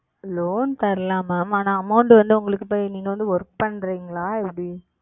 Loan தரலாம் Ma'am ஆனா Amount வந்து உங்களுக்கு இப்போ நீங்க வந்து Work பண்றீங்களா? எப்படி?